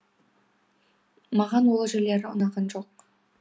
маған ол жерлері ұнаған жоқ